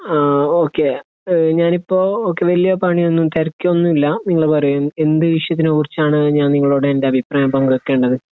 ആ ഓക്കേ. ഞാനിപ്പോ വലിയ പണി ഒന്നും, തിരക്കൊന്നുമില്ല. നിങ്ങൾ പറയൂ. എന്ത് വിഷയത്തിനെക്കുറിച്ചാണ് ഞാൻ നിങ്ങളോട് എന്റെ അഭിപ്രായം പങ്കുവയ്‌ക്കേണ്ടത്?